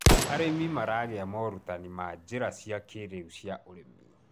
arĩmi maragia morutanĩ ma njira cia kĩiriu cia ũrĩmi